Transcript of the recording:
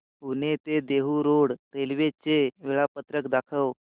पुणे ते Dehu road railway चे वेळापत्रक दाखव